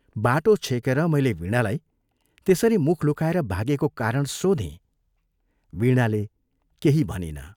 बाटो छेकेर मैले वीणालाई त्यसरी मुख लुकाएर भागेको कारण सोधें वीणाले केही भनिन।